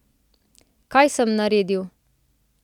Kaj sem naredil?